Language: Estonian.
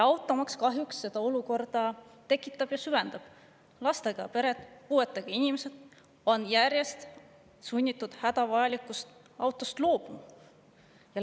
Automaks kahjuks sellise olukorra tekitab või seda süvendab: lastega pered ja puuetega inimesed on järjest enam sunnitud hädavajalikust autost loobuma.